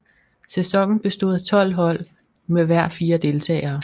Sæsonen bestod af 12 hold med hver fire deltagere